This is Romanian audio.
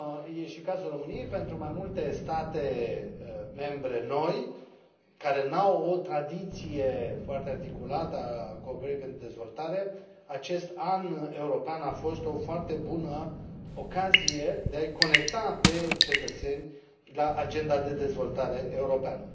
e și cazul României pentru mai multe state membre noi, care nu au o tradiție foarte articulată a cooperării pentru dezvoltare, acest An European a fost o foarte bună ocazie de a i conecta pe cetățeni la Agenda de dezvoltare europeană.